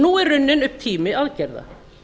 nú er runninn upp tími aðgerða